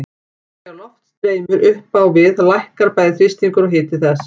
Þegar loft streymir upp á við lækkar bæði þrýstingur og hiti þess.